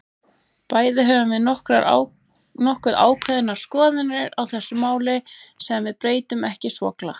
Bæði höfum við nokkuð ákveðnar skoðanir á þessu máli, sem við breytum ekki svo glatt.